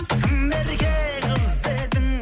тым ерке қыз едің